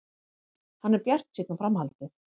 Hann er bjartsýnn á framhaldið.